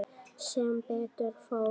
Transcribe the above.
Sem betur fór.